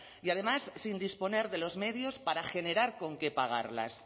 y además sin disponer de los medios para generar con qué pagarlas